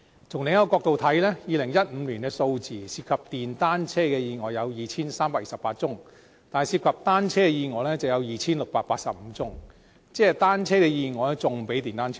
從另一個角度來看 ，2015 年的數字，涉及電單車的意外有 2,328 宗，但涉及單車的意外有 2,685 宗，即單車的意外比電單車還要多。